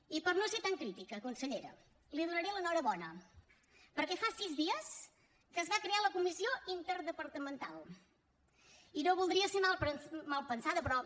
i per no ser tan crítica consellera li donaré l’enhorabona perquè fa sis dies que es va crear la comissió interdepartamental i no voldria ser malpensada però